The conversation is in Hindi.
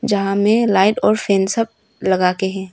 जहां में लाइट और फैन सब लगाके है।